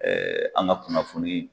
an ka kunnafoni